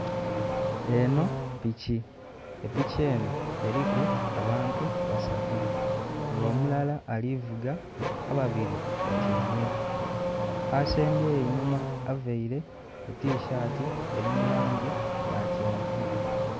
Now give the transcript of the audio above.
Enho piki, epiki eno eliku abantu basatu. Nga omulala ali vuga ababili batyaime. Asembyeyo enhuma availe etishaati eli mu langi ya kyenvu